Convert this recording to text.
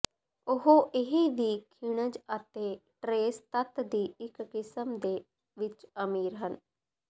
ਉਹ ਇਹ ਵੀ ਖਣਿਜ ਅਤੇ ਟਰੇਸ ਤੱਤ ਦੀ ਇੱਕ ਕਿਸਮ ਦੇ ਵਿੱਚ ਅਮੀਰ ਹਨ